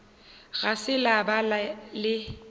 ga se la ba le